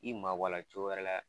I mabɔ a la cogo wɛrɛ la